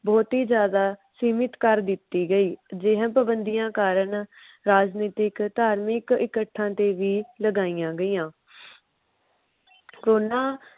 ਬਹੁਤੀ ਜਿਆਦਾ ਸੀਮਿਤ ਕਰ ਦਿਤੀ ਗਈ। ਜਿਵੇ ਪਵੰਦੀਆਂ ਕਾਰਨ ਰਾਜਨੀਤਿਕ ਧਾਰਮਿਕ ਇਕੱਠਾ ਤੇ ਵੀ ਲਗਾਇਆ ਗਈਆਂ। ਕੋਰੋਨਾਂ